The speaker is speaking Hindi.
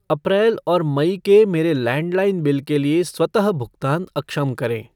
अप्रैल और मई के मेरे लैंडलाइन बिल के लिए स्वतः भुगतान अक्षम करें।